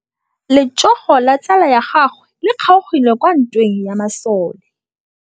Letsôgô la tsala ya gagwe le kgaogile kwa ntweng ya masole.